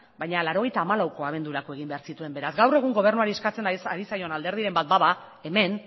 baina mila bederatziehun eta laurogeita hamalauko abendurako egin behar zituen beraz gaur egun gobernuari eskatzen ari zaion alderdiren bat bada hemen